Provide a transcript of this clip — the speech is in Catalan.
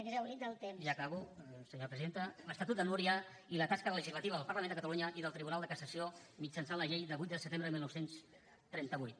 ja acabo senyora presidenta l’estatut de núria i la tasca legislativa del parlament de catalunya i del tribunal de cassació mitjançant la llei de vuit de setembre de dinou trenta vuit